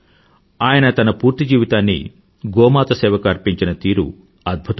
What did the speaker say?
ఆయన తన పూర్తి జీవితాన్ని గోమాత సేవకి అర్పించిన తీరు అద్భుతం